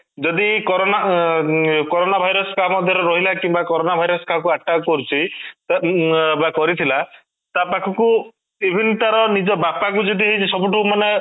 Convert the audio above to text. ଯଦି corona ଏଁ corona virus କାହା ମଧ୍ୟ ରେ ରହିଲା କିମ୍ବା corona virus କାହାକୁ attack କରୁଛି ଉଁ ବା କରିଥିଲା ତାପାଖକୁ even ତାର ନିଜ ବାପା କୁ ଯଦି ସବୁଠୁ ମାନେ